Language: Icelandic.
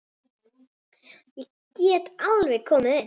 Ég get alveg komið inn.